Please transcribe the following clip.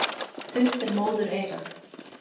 Þunnt er móðureyrað.